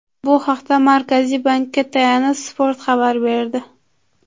Bu haqda Markaziy bankka tayanib Spot xabar berdi .